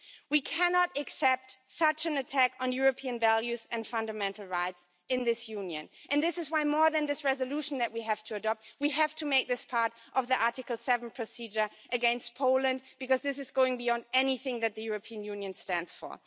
We cannot accept such an attack on European values and fundamental rights in this Union and this is why more than this resolution that we have to adopt, we have to make this part of the Article 7 procedure against Poland because this is going beyond anything that the European Union stands for.